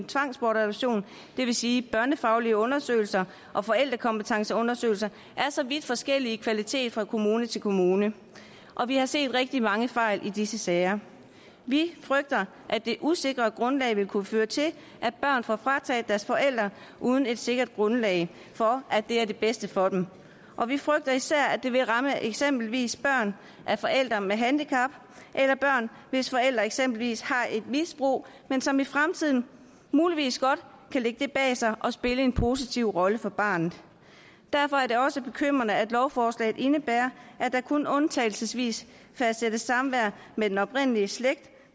tvangsbortadoption det vil sige børnefaglige undersøgelser og forældrekompetenceundersøgelser er så vidt forskellige i kvalitet fra kommune til kommune og vi har set rigtig mange fejl i disse sager vi frygter at det usikre grundlag vil kunne føre til at børn får frataget deres forældre uden et sikkert grundlag for at det er det bedste for dem og vi frygter især at det vil ramme eksempelvis børn af forældre med handicap eller børn hvis forældre eksempelvis har et misbrug men som i fremtiden muligvis godt kan lægge det bag sig og spille en positiv rolle for barnet derfor er det også bekymrende at lovforslaget indebærer at der kun undtagelsesvis fastsættes samvær med den oprindelige slægt